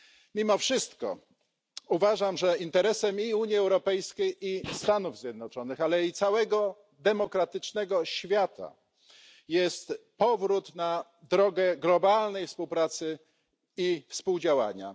Mimo wszystko uważam, że interesem zarówno Unii Europejskiej i Stanów Zjednoczonych, jak i całego demokratycznego świata jest powrót na drogę globalnej współpracy i współdziałania.